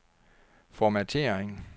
formattering